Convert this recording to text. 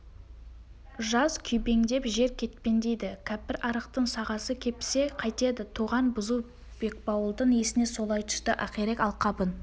жаз күйбеңдеп жер кетпендейді кәпірарықтың сағасы кепсе қайтеді тоған бұзу бекбауылдың есіне солай түсті ақирек алқабын